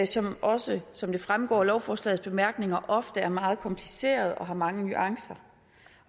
som også som det fremgår af lovforslagets bemærkninger ofte er meget komplicerede og har mange nuancer